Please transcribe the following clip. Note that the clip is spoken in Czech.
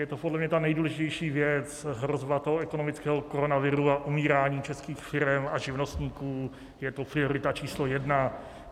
Je to podle mě ta nejdůležitější věc, hrozba toho ekonomického koronaviru a umírání českých firem a živnostníků, je to priorita číslo jedna.